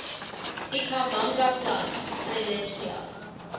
ikhamanga plant strelitzia